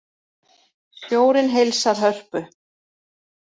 Sjórinn heilsar Hörpu